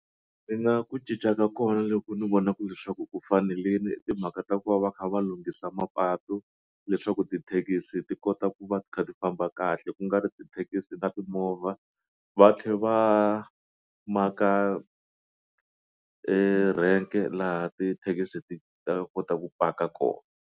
ku cinca ka kona loko ni vonaka leswaku ku fanerile timhaka ta ku va va kha va lunghisa mapatu leswaku tithekisi ti kota ku va ti kha ti famba kahle ku nga ri tithekisi na timovha va tlhela va maka erank-e laha ti taxi ti ta kota ku paka kona.